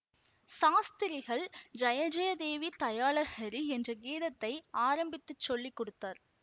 சாஸ்திரிகள் ஜய ஜய தேவி தயாலஹரி என்ற கீதத்தை ஆரம்பித்துச் சொல்லி கொடுத்தார்